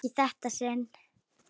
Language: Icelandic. Ekki í þetta sinn.